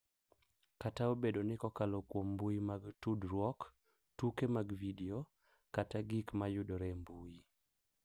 Kata obedo ni kokalo kuom mbui mag tudruok, tuke mag vidio, kata gik ma yudore e mbui—